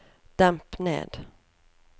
demp ned